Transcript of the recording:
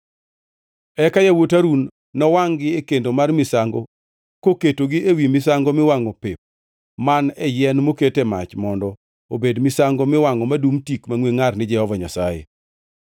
Eka yawuot Harun nowangʼ-gi e kendo mar misango koketgi ewi misango miwangʼo pep man e yien moket e mach mondo obed misango miwangʼo madum tik mangʼwe ngʼar ni Jehova Nyasaye.